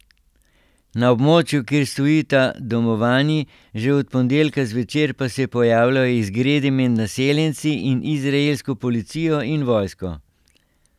Na območju, kjer stojita domovanji, že od ponedeljka zvečer pa se pojavljajo izgredi med naseljenci in izraelsko policijo in vojsko.